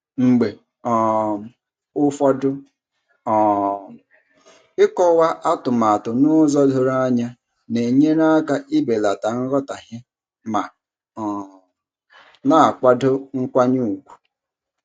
Mgbe um ụfọdụ um ịkọwa atumatu n'ụzọ doro anya na-enyere aka ibelata nghọtahie ma um na-akwado nkwanye ùgwù.